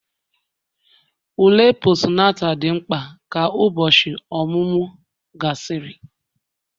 ule Postunata dị mkpa ka ụbọchị ọmụmụ gasịrị